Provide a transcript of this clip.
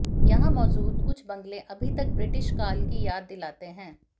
यहाँ मौजूद कुछ बंगले अभी तक ब्रिटिश काल की याद दिलाते हैं